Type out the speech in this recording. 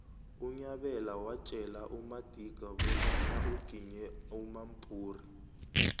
unyabela watjela amadika bonyana uginye umampuru